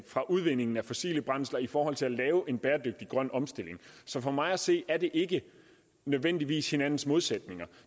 fra udvindingen af fossile brændsler i forhold til at lave en bæredygtig grøn omstilling så for mig at se er det ikke nødvendigvis hinandens modsætninger